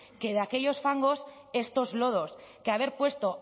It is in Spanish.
que de aquellos fangos estos lodos que haber puesto